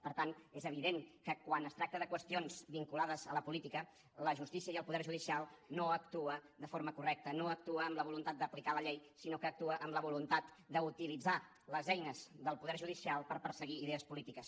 per tant és evident que quan es tracta de qüestions vinculades a la política la justícia i el poder judicial no actuen de forma correcta no actuen amb la voluntat d’aplicar la llei sinó que actuen amb la voluntat d’utilitzar les eines del poder judicial per perseguir idees polítiques